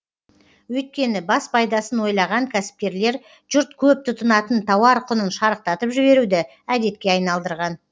өйткені бас пайдасын ойлаған кәсіпкерлер жұрт көп тұтынатын тауар құнын шарықтатып жіберуді әдетке айналдырған